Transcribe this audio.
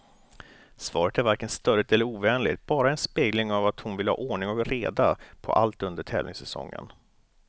Svaret är varken stöddigt eller ovänligt, bara en spegling av att hon vill ha ordning och reda på allt under tävlingssäsongen.